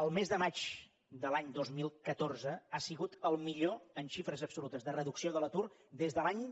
el mes de maig de l’any dos mil catorze ha sigut el millor en xifres absolutes de reducció de l’atur des de l’any